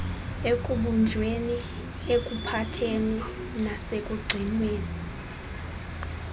ekubunjweni ekuphatheni nasekugcineni